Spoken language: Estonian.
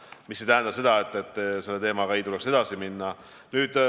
Aga see ei tähenda seda, et teemaga ei tule edasi minna.